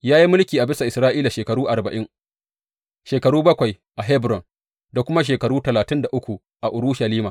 Ya yi mulki a bisa Isra’ila shekaru arba’in, shekaru bakwai a Hebron da kuma shekaru talatin da uku a Urushalima.